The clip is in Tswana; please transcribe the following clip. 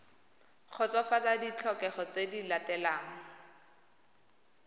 kgotsofatsa ditlhokego tse di latelang